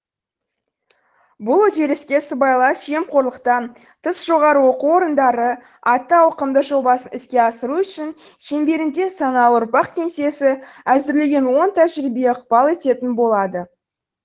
бұл үдеріске сыбайлас жемқорлықтан тыс жоғары оқу орындары атты ауқымды жобасын іске асыру үшін шеңберінде саналы ұрпақ кеңсесі әзірлеген оң тәжірибе ықпал ететін болады